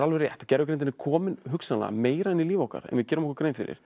gervigreindin er komin hugsanlega meira inn í líf okkar en við gerum okkur grein fyrir